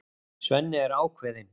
Svenni er ákveðinn.